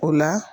O la